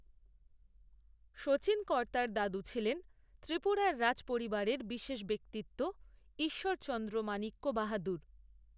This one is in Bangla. শচীনকর্তার দাদু ছিলেন ত্রিপুরার রাজ পরিবারের বিশেষ ব্যক্তিত্ব, ঈশ্বরচন্দ্র মাণিক্য বাহাদুর